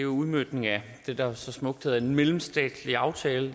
udmøntning af det der så smukt hedder en mellemstatslig aftale